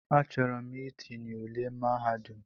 Achọrọ m itinye ụle mahadum.